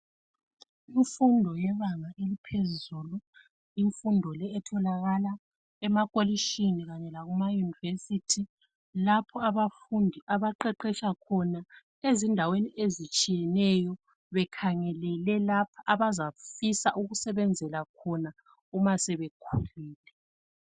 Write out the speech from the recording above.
Imfundo yebanga eliphezulu. Imfundo leyi etholakala emakolitshini khanye lakhumayunivesiti lapho abafundi abaqeqesha khona ezindaweni ezitshiyeneyo bekhangelele lapho abazafisa ukusebenzela khona uma sebekhulile.